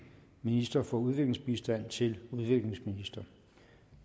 minister for udviklingsbistand til udviklingsminister